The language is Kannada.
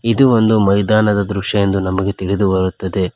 ಇದು ಒಂದು ಮೈದಾನದ ದೃಶ್ಯ ಎಂದು ನಮಗೆ ತಿಳಿದು ಬರುತ್ತದೆ.